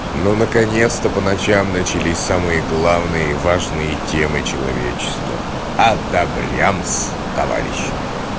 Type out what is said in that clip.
ну наконец-то по ночам начались самые главные и важные темы человечества одобрямс товарищи